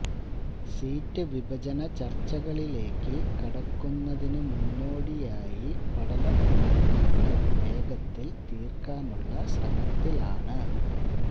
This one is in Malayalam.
സീറ്റ് വിഭജന ചർച്ചകളിലേക്ക് കടക്കുന്നതിനു മുന്നോടിയായി പടലപ്പിണക്കങ്ങൾ വേഗത്തിൽ തീർക്കാനുള്ള ശ്രമത്തിലാണ്